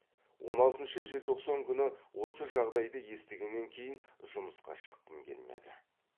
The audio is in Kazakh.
он алтыншы желтоқсан күні осы жағдайды естігеннен кейін жұмысқа шыққым келмеді